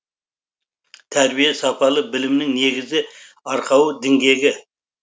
тәрбие сапалы білімнің негізі арқауы діңгегі